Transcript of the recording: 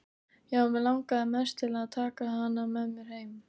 Já, mig langaði mest til að taka hana með mér heim.